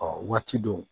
Ɔ waati dɔw